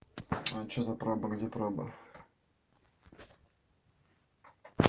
а что за проба где проба